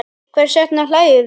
Hvers vegna hlæjum við?